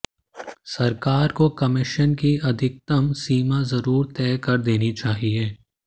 सरकार को कमीशन की अधिकतम सीमा जरूर तय कर देनी चाहिए